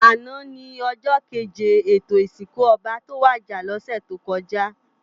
Àná ni òjò kéjé étó isinkú òbá tó wàjá lòsè tókòjá